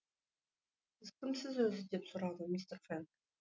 сіз кімсіз өзі деп сұрады мистер фэнг